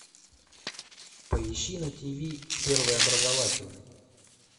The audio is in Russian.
поищи на тиви первый образовательный